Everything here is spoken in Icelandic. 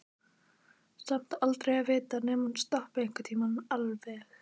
Samt aldrei að vita nema hún stoppi einhvern tímann alveg.